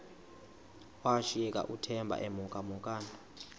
washiyeka uthemba emhokamhokana